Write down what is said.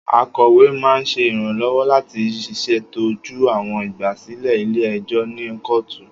Akọwe máan ṣe iranlọwọ lati ṣetọju awọn igbasilẹ ile-ẹjọ ni kootu.